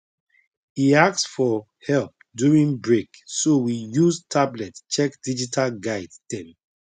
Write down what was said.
e ask for help during break so we use tablet check digital guide dem